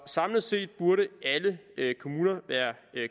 samlet set burde alle kommuner være